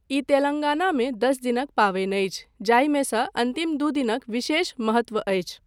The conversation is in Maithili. ई तेलङ्गानामे दस दिनक पाबनि अछि, जाहिमे सँ अन्तिम दू दिनक विशेष महत्व अछि।